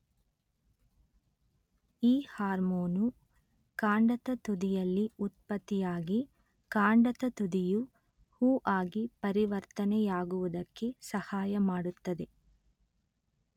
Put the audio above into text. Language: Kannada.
ಈ ಹಾರ್ಮೋನು ಕಾಂಡದ ತುದಿಯಲ್ಲಿ ಉತ್ಪತ್ತಿಯಾಗಿ ಕಾಂಡದ ತುದಿಯು ಹೂ ಆಗಿ ಪರಿವರ್ತನೆಯಾಗುವುದಕ್ಕೆ ಸಹಾಯ ಮಾಡುತ್ತದೆ